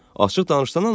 Açıq danışsan, nə olub?